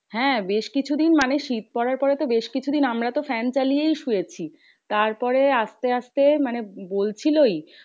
হ্যাঁ বেশকিছু দিন মানে শীত পড়ার পরে তো বেশ কিছু দিন আমরা তো fan চালিয়েই শুয়েছি। তারপরে আসতে আসতে মানে বলছিলোই